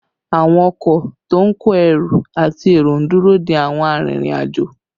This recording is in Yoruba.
Àwọn ọkọ to ń kó ẹrù àti èrò ń dúró dé àwọn arìnrìn-àjò